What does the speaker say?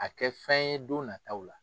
A kɛ fɛn ye don nataw la.